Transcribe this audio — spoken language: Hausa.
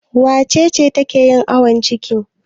Wace ce take yin awon ciki?